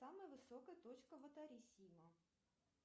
самая высокая точка ватарисима